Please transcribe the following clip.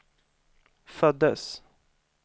föddes